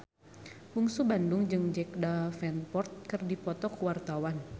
Bungsu Bandung jeung Jack Davenport keur dipoto ku wartawan